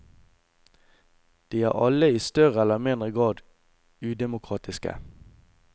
De er alle i større eller mindre grad udemokratiske.